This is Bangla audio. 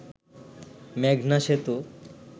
মেঘনা সেতু